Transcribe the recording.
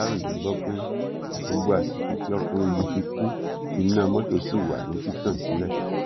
aláròye gbọ pé gbogbo àsìkò tí ọkùnrin yìí fi kú iná mọtò ṣì wà ní títàn sílẹ